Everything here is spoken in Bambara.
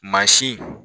Mansin